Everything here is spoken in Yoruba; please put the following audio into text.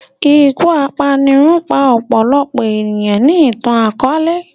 Iku apanirun pa ọpọlọpọ eniyan ni itan-akọọlẹ